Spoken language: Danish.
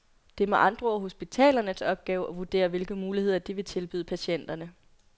Det er med andre ord hospitalernes opgave at vurdere hvilke muligheder de vil tilbyde patienterne.